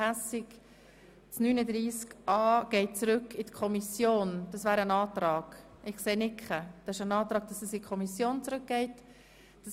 Es wurde somit der Antrag gestellt, dass dieser Artikel in die Kommission zurückgegeben wird.